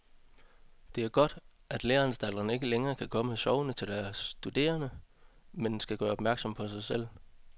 Det er godt, at læreanstalterne ikke længere kan komme sovende til deres studerende, men skal gøre opmærksom på sig selv.